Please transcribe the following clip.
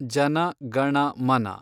ಜನ ಗಣ ಮನ